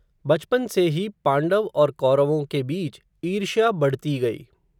बचपन से ही, पांडव और कौरवों के बीच, ईर्ष्या बढ़ती गई